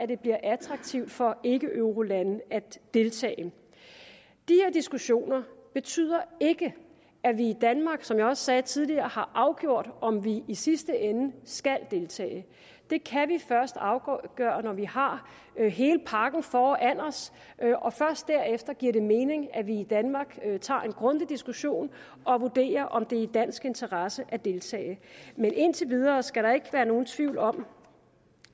det bliver attraktivt for ikkeeurolande at deltage de her diskussioner betyder ikke at vi i danmark som jeg også sagde tidligere har afgjort om vi i sidste ende skal deltage det kan vi først afgøre når vi har hele pakken foran os først derefter giver det mening at vi i danmark tager en grundig diskussion og vurderer om det er i dansk interesse at deltage men indtil videre skal der ikke være nogen tvivl om